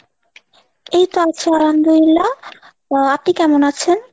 এইতো আছি আলহামদুল্লিয়া, আপনি কেমন আছে ?